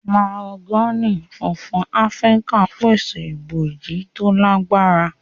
Mahogany fúnfún Áfíríkà pèsè ibojì to lagbara.